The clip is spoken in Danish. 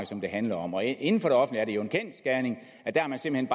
som det handler om og inden for det offentlige er det jo en kendsgerning at der har man simpelt